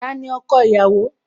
Tani ọkọ ìyàwó?